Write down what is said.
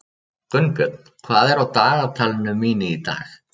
Gunnbjörn, hvað er á dagatalinu mínu í dag?